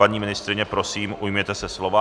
Paní ministryně, prosím, ujměte se slova.